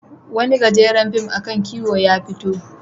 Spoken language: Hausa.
Wani gajeren fim a kan kiwo ya fito.